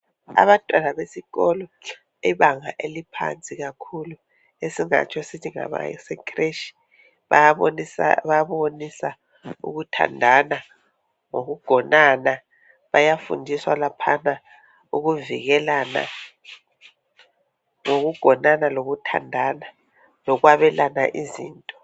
Abantwana besikolo bebanga eliphansi kakhulu esingatsho sithi ngabase khreshi bayabonisa ukuthandana lokugonana bayafundiswa lapha ukuvikelana ngokugonana lokuthandana lokwabelana izinto.